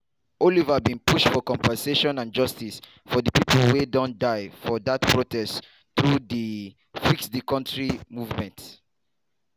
oliver bin push for compensation and justice for di pipo wia don die for dat protest thru di #fixthecountry movement.